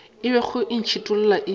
e bego e ntšhithola e